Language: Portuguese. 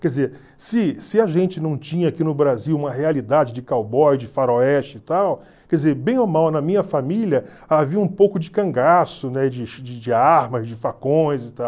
Quer dizer, se se a gente não tinha aqui no Brasil uma realidade de cowboy, de faroeste e tal, quer dizer, bem ou mal na minha família havia um pouco de cangaço, né, de de armas, de facões e tal.